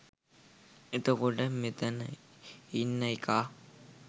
එතකොට මෙතන ඉන්න එකා